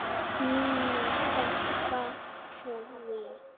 MÍNU. Stela því?